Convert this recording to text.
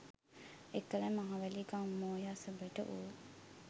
එකල මහවැලි ගං මෝය අසබඩ වූ